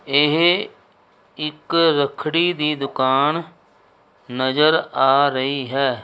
ਇਹ ਇੱਕ ਰੱਖੜੀ ਦੀ ਦੁਕਾਨ ਨਜ਼ਰ ਆ ਰਹੀ ਹੈ।